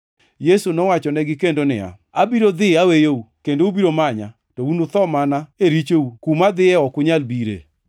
Yesu nowachonegi kendo niya, “Abiro dhi aweyou, kendo ubiro manya, to unutho mana e richou. Kuma adhiye ok unyal bire.”